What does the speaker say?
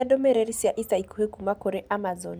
Nyonia ndũmĩrĩri cia ica ikuhĩ kuuma kũrĩ Amazon